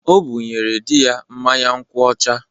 O bụnyere di ya mmanya nkwu ọcha.